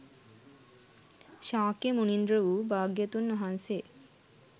ශාක්‍ය මුනින්ද්‍ර වූ භාග්‍යවතුන් වහන්සේ